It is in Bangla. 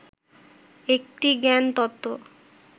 একটি জ্ঞান তত্ত্ব